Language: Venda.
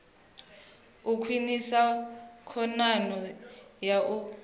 u khwinisa khonadzeo ya u